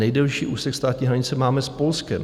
Nejdelší úsek státní hranice máme s Polskem.